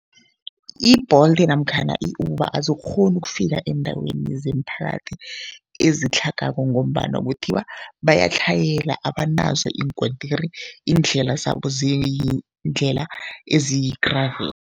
I-Bolt namkhana i-Uber azikghoni ukufika eendaweni zemiphakathi ezitlhagako ngombana kuthiwa bayatlhayela, abanazo iinkontiri, iindlela zabo ziindlela eziyi-gravel.